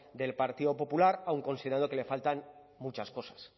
del partido popular aun considerando que le faltan muchas cosas